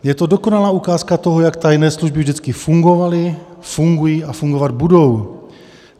Je to dokonalá ukázka toho, jak tajné služby vždycky fungovaly, fungují a fungovat budou.